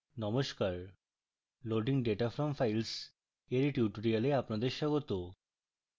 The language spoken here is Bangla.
নমস্কার loading data from files এর tutorial আপনাদের স্বাগত